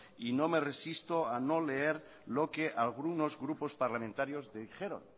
y no me resisto a no leer lo que algunos grupos parlamentarios dijeron